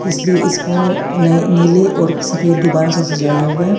इस लिए इसको नए नीले और सफेद गुब्बारों से सजाया हुआ--